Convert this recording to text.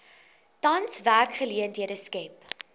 tans werksgeleenthede skep